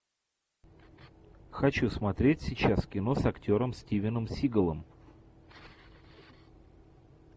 хочу смотреть сейчас кино с актером стивеном сигалом